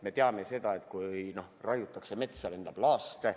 Me teame seda, et kui raiutakse metsa, siis lendab laaste.